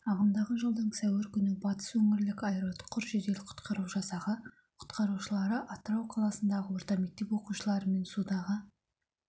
ағымдағы жылдың сәуір күні батыс өңірлік аэроұтқыр жедел-құтқару жасағы құтқарушылары атырау қаласындағы орта мектеп оқушыларымен судағы